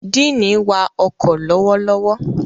Diini wá ọkọ lọwọlọwọ.